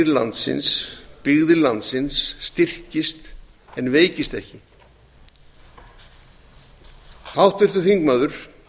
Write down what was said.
landsins byggðir landsins styrkist en veikist ekki háttvirtur þingmaður